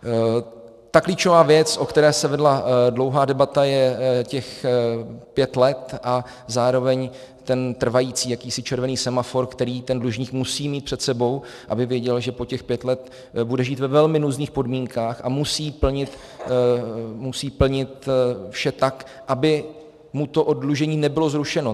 Ta klíčová věc, o které se vedla dlouhá debata, je těch pět let a zároveň ten trvající jakýsi červený semafor, který ten dlužník musí mít před sebou, aby věděl, že po těch pět let bude žít ve velmi nuzných podmínkách a musí plnit vše tak, aby mu to oddlužení nebylo zrušeno.